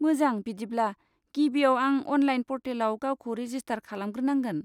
मोजां! बिदिब्ला गिबियाव आं अनलाइन पर्टेलाव गावखौ रेजिस्टार खालामग्रोनांगोन।